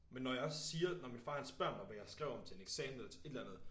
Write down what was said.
Men når jeg også siger når min far han spørger mig hvad jeg skrev om til en eksamen eller et eller andet